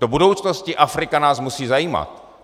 Do budoucnosti Afrika nás musí zajímat.